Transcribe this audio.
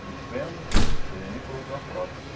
de fêmur, e coloquei uma prótese.